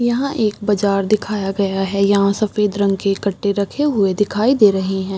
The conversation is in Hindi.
यहाँ एक बाजार दिखाया गया है यहाँ सेफद रंग के कट्टे रखे हुए दिखाई दे रहे हैं।